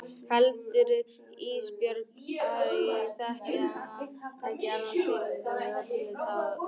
Heldurðu Ísbjörg að ég þekki ekki þennan fyrirlitningartón í röddinni á þér?